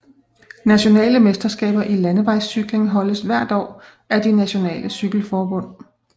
Nationale mesterskaber i landevejscykling holdes hvert år af de nationale cykelforbund